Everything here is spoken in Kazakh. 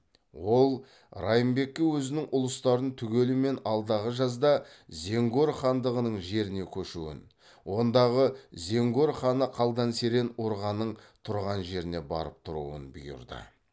ол райымбекке өзінің ұлыстарын түгелімен алдағы жазда зенгор хандығының жеріне көшуін ондағы зенгор ханы қалдан серен урғаның тұрған жеріне барып тұруын бұйырды